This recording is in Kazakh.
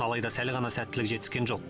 алайда сәл ғана сәттілік жетіскен жоқ